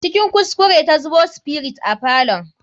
Cikin kuskure ta zubo spirit a falon.